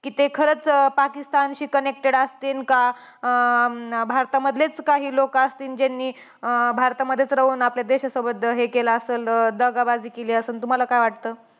कि ते खरंच अं पाकिस्तानशी connected असतील का? अं भारतामधलेच काही लोकं असतील, ज्यांनी अं भारतामध्येच राहून, आपल्या देशासोबत हे केलं असलं. दगाबाजी केली असलं. तुम्हांला काय वाटतं?